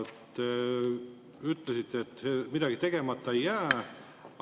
Te ütlesite, et midagi tegemata ei jää.